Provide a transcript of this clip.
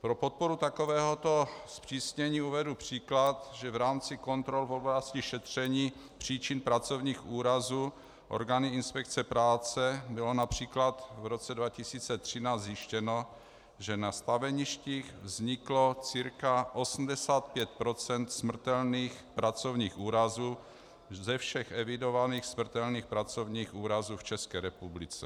Pro podporu takovéhoto zpřísnění uvedu příklad, že v rámci kontrol v oblasti šetření příčin pracovních úrazů orgány inspekce práce bylo například v roce 2013 zjištěno, že na staveništích vzniklo cca 85 % smrtelných pracovních úrazů ze všech evidovaných smrtelných pracovních úrazů v České republice.